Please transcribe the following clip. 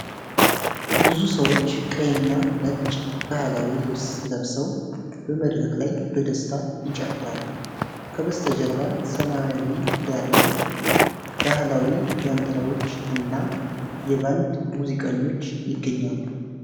ብዙ ሰዎች ቀይና ነጭ ባህላዊ ልብስ ለብሰው በመድረክ ላይ በደስታ ይጨፍራሉ። ከበስተጀርባ ሰማያዊ ዳራ ላይ ባሕላዊ ዣንጥላዎች እና የባንድ ሙዚቀኞች ይገኛሉ።